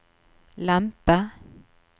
lempe